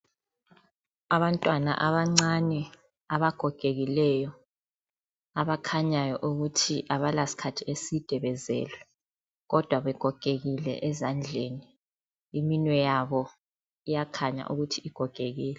Abantwana abancane abagogekileyo abakhanyayo ukuthi abala sikhathi eside bezelwe kodwa begogekile ezandleni, iminwe yabo iyakhanya ukuthi igogekile.